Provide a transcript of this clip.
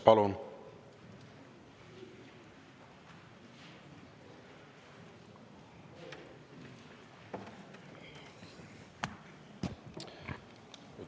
Palun!